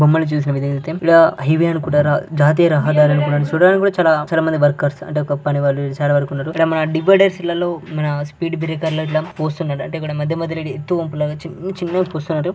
బొమ్మను చూసినా విధం అయితే ఈడ హైవే అనుకున్నారా జాతీయ రహదారి అనుకునార చూడ్డానికి కూడా చాలా మంది వర్కర్స్ అంటే ఒక పని వాళ్ళు ఇడచాలా వరకు ఉన్నరు ఇక్కడ మన ఇళ్ళలో మన స్పీడ్ బ్రేకర్స్ గట్ల పోస్తున్నాడు అంటే ఇక్కడ మధ్య మధ్యలో ఎత్తు వంపు లాగా చిన్న చిన్న పోస్తున్నాడు.